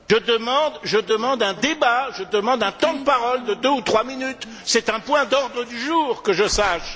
Monsieur le Président, je demande un débat, je demande un temps de parole de deux ou trois minutes, c'est un point d'ordre du jour que je sache.